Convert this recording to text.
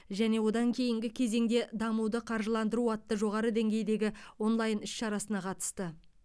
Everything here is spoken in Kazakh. және одан кейінгі кезеңде дамуды қаржыландыру атты жоғары деңгейдегі онлайн іс шарасына қатысты